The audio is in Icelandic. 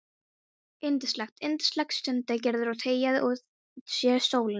Yndislegt, yndislegt stundi Gerður og teygaði að sér sólina.